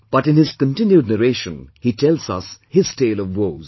But in his continued narration, he tells us his tale of woes